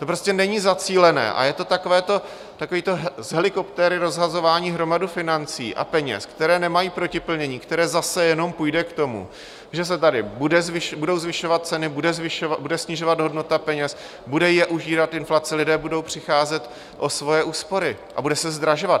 To prostě není zacílené a je to takové to z helikoptéry rozhazování hromady financí a peněz, které nemají protiplnění, které zase jenom půjde k tomu, že se tady budou zvyšovat ceny, bude snižovat hodnota peněz, bude je užírat inflace, lidé budou přicházet o svoje úspory a bude se zdražovat.